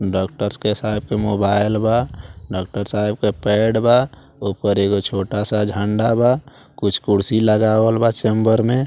doctor साहब के mobile बा डॉक्टर साहेब के पैड बा ऊपर एगो छोटा सा झंडा बा कुछ कुर्सी लगावल बा चैंबर में --